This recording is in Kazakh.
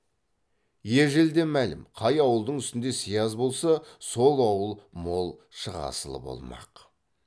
ежелден мәлім қай ауылдың үстінде сияз болса сол ауыл мол шығасылы болмақ